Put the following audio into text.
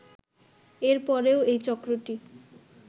এর পরেও এই চক্রটি